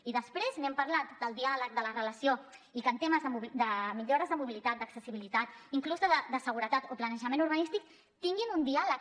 i després n’hem parlat del diàleg de la relació i que en temes de millores de mobilitat d’accessibilitat inclús de seguretat o planejament urbanístic tinguin un diàleg